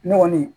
Ne kɔni